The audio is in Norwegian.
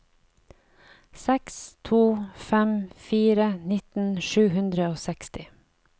seks to fem fire nitten sju hundre og seksti